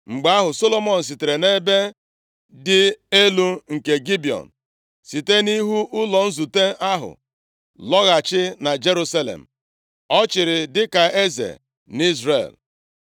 Mgbe ahụ, Solomọn sitere nʼebe dị elu nke Gibiọn, site nʼihu ụlọ nzute ahụ, lọghachi na Jerusalem. Ọ chịrị dịka eze nʼIzrel.